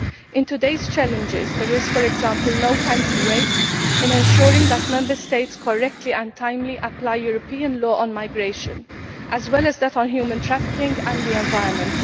In today's challenges there is, for example, no time to waste in assuring that Member States correctly and timely apply European law on migration as well as that on human trafficking and the environment.